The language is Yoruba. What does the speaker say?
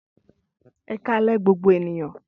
Ẹkalẹ gbogbo ènìyàn